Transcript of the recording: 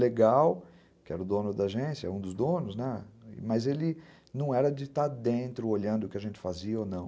legal, que era o dono da agência, um dos donos, né, mas ele não era de estar dentro, olhando o que a gente fazia ou não.